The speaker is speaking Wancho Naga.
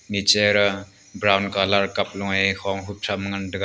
nichera brown colour cup lo ye hong khup chem ngantaga.